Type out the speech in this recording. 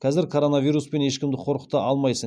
казір коронавируспен ешкімді қорқыта алмайсың